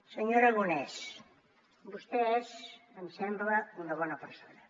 senyor aragonès vostè és em sembla una bona persona